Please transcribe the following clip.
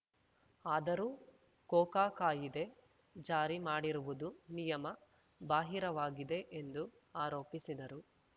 ಆದರೂ ಕೋಕಾ ಕಾಯಿದೆ ಜಾರಿ ಮಾಡಿರುವುದು ನಿಯಮ ಬಾಹಿರವಾಗಿದೆ ಎಂದು ಆರೋಪಿಸಿದರು